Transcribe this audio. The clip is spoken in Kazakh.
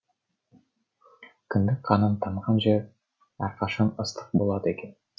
кіндік қаның тамған жер әрқашан ыстық болады екен